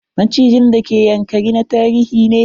Macijin d ke Ynakari na tarihi ne.